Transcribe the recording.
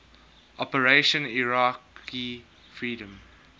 operation iraqi freedom